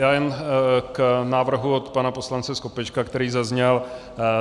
Já jenom k návrhu od pana poslance Skopečka, který zazněl.